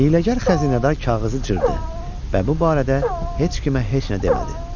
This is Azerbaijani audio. Hiyləgər xəzinədar kağızı cırdı və bu barədə heç kimə heç nə demədi.